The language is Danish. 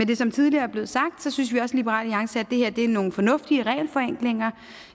det som tidligere er blevet sagt synes vi også i liberal alliance at det her er nogle fornuftige regelforenklinger